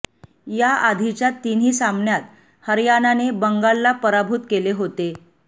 या आधीच्या तिन्ही सामन्यांत हरयाणाने बंगालला पराभूत केले होते